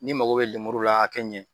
Ni mako be lemuru la a ka ɲɛ